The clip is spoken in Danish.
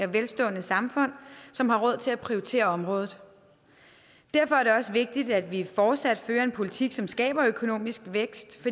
og velstående samfund som har råd til at prioritere området derfor er det også vigtigt at vi fortsat fører en politik som skaber økonomisk vækst